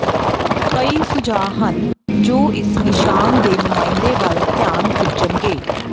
ਕਈ ਸੁਝਾਅ ਹਨ ਜੋ ਇਸ ਨਿਸ਼ਾਨ ਦੇ ਨੁਮਾਇੰਦੇ ਵੱਲ ਧਿਆਨ ਖਿੱਚਣਗੇ